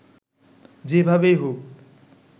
যেভাবেই হোক